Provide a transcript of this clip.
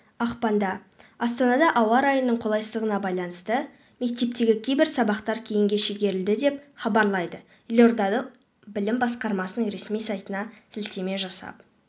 ақпанда астанада ауа райының қолайсыздығына байланысты мектептегі кейбір сабақтар кейінге шегерілді деп хабарлайды елордалық білім басқармасының ресми сайтына сілтеме жасап